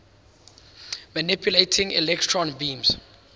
manipulating electron beams